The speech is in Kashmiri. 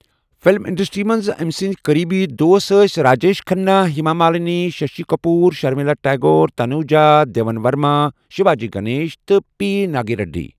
فِلم انڈسٹری منٛز أمۍ سٕنٛدۍ قٔریبی دوس ٲس راجیش کھنہ، ہیما مالنی، ششی کپور، شرمیلا ٹیگور، تنوجا، دیون ورما، شیواجی گنیشن تہٕ پی ناگنا ریڈی۔